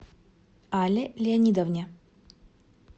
алле леонидовне